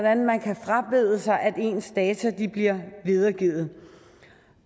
at man kan frabede sig at ens data bliver videregivet